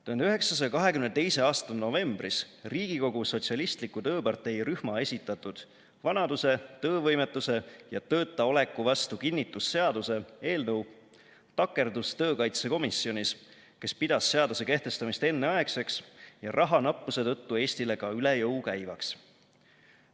1922. aasta novembris Riigikogu Sotsialistliku Tööpartei rühma esitatud "Vanaduse, töövõimetuse ja töötaoleku vastu kinnitusseaduse" eelnõu takerdus töökaitsekomisjonis, kes pidas seaduse kehtestamist enneaegseks ja rahanappuse tõttu Eestile ka üle jõu käivaks.